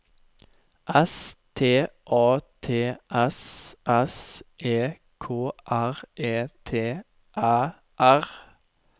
S T A T S S E K R E T Æ R